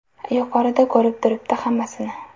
Yuqorida ko‘rib turibdi hammasini.